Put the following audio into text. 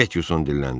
Metson dilləndi.